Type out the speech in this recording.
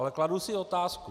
Ale kladu si otázku.